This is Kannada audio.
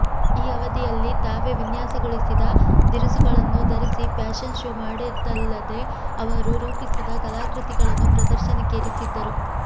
ಈ ಅವಧಿಯಲ್ಲಿ ತಾವೇ ವಿನ್ಯಾಸಗೊಳಿಸಿದ ದಿರಿಸುಗಳನ್ನು ಧರಿಸಿ ಫ್ಯಾಷನ್ ಶೋ ಮಾಡಿದ್ದಲ್ಲದೆ ಅವರು ರೂಪಿಸಿದ ಕಲಾಕೃತಿಗಳನ್ನು ಪ್ರದರ್ಶನಕ್ಕೆ ಇರಿಸಿದ್ದರು